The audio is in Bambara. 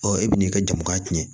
Ɔ e bɛn'i ka jama cɛn